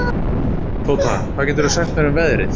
Tóta, hvað geturðu sagt mér um veðrið?